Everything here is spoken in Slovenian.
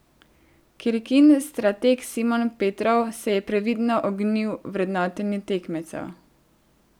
Krkin strateg Simon Petrov se je previdno ognil vrednotenju tekmecev.